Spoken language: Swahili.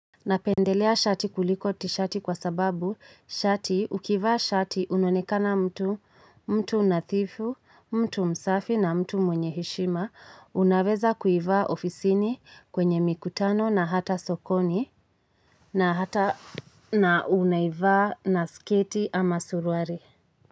Napendelea shati kuliko tishati kwa sababu shati ukivaa shati unonekana mtu, mtu nadhifu, mtu msafi na mtu mwenye heshima, unaweza kuivaa ofisini kwenye mikutano na hata sokoni na hata na unaivaa na sketi ama suruali.